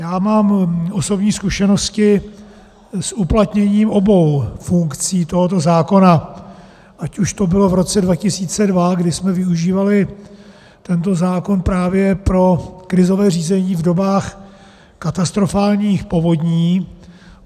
Já mám osobní zkušenosti s uplatněním obou funkcí tohoto zákona, ať už to bylo v roce 2002, kdy jsme využívali tento zákon právě pro krizové řízení v dobách katastrofálních povodní.